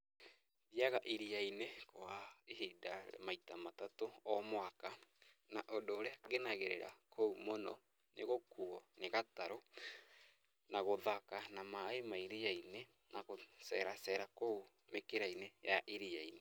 Thiaga iria-inĩ kwa ihinda maita matatũ o mwaka, na ũndũ ũrĩa ngenagĩrĩra kũu mũno nĩ gũkuuo nĩ gatarũ na gũthaka na maĩ ma iria-inĩ na gũceera ceera kũu mĩkĩra-inĩ ya iria-inĩ.